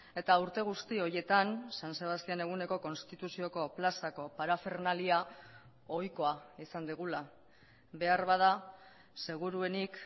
eta urte guzti horietan san sebastian eguneko konstituzioko plazako parafernalia ohikoa izan dugula beharbada seguruenik